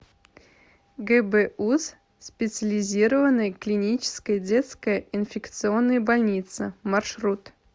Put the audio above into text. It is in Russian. гбуз специализированная клиническая детская инфекционная больница маршрут